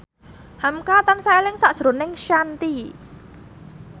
hamka tansah eling sakjroning Shanti